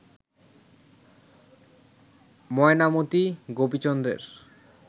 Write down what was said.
Mainamati গোপীচন্দ্রের